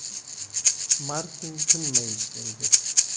Martin tinmay ishlaydi.